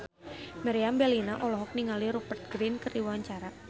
Meriam Bellina olohok ningali Rupert Grin keur diwawancara